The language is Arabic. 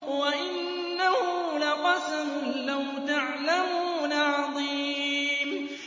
وَإِنَّهُ لَقَسَمٌ لَّوْ تَعْلَمُونَ عَظِيمٌ